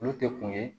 Olu tɛ kun ye